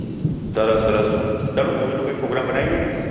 સરસ સરસ ચાલો Movie કઈ pograme બનાઈએ